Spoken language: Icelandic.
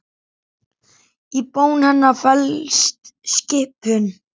Í bón hennar felst skipun.